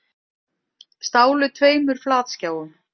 Stálu tveimur flatskjáum